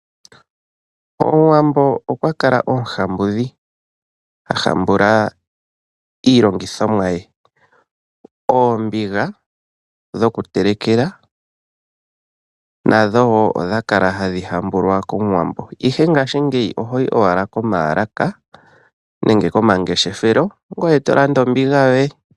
Omuwambo okwa kala omuhambuli ha hambula iilongithomwa ye ngaashi oombiga dhokutelekela nadho wo odha kala hadhi hambulwa komuwambo ashike ngaashingeyi ohoyi owala komayalaka nenge komangeshefelo e to landa ombinga yoye.